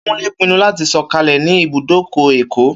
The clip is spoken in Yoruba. Kúnlé pinnu láti sọ̀kalẹ̀ ní ibùdókọ̀ Èkó